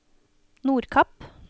Nordkapp